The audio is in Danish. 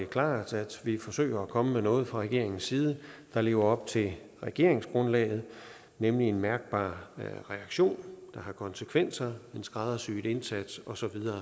klart at vi forsøger at komme med noget fra regeringens side der lever op til regeringsgrundlaget nemlig en mærkbar reaktion der har konsekvenser en skræddersyet indsats osv